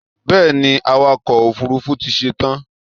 Bẹ́ẹ̀ni, awakọ̀ òfurufú ti ṣetán